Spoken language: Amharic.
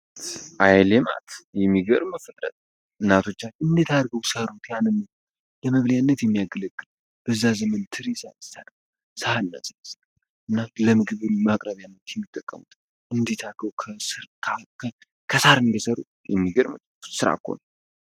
አይልማት የሚገርም ፍጥረት እናቶቻችን እንዴት አድርገው ሰሩት ያንምኑ ለመብሊያነት የሚያገለግል ብዛ ዘምን ትሪሳሰ ሰሐ እና ስዝ እና ለምግብል ማቅረቢያነት የሚጠቀሙት እንዴታርገው ከስር ከ ከሳር እንዴሰሩ የሚገርም ስራ እኮ ነው።